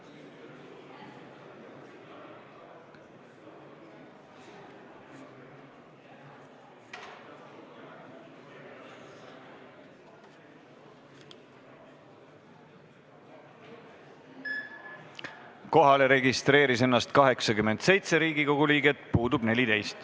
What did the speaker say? Kohaloleku kontroll Kohalolijaks registreeris ennast 87 Riigikogu liiget, puudub 14.